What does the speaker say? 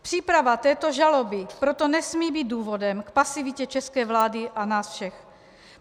Příprava této žaloby proto nesmí být důvodem k pasivitě české vlády a nás všech.